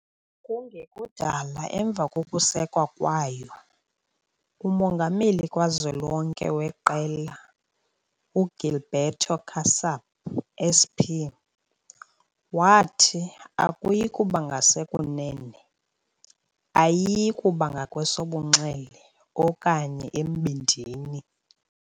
Kungekudala emva kokusekwa kwayo, umongameli kazwelonke weqela, uGilberto Kassab SP, wathi, "Akuyi kuba ngasekunene, ayiyi kuba ngakwesobunxele, okanye embindini".